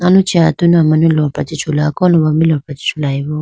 aluchi atunu amanu lopra chee chula kolombo ma lopra chee chulayi bo.